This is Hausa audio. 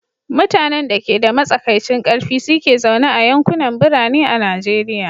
Mutanen da ke da matsakaicin ƙarfi su ke zaune a yankunan birane a Najeriya.